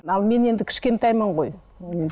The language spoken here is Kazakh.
ал мен енді кішкентаймын ғой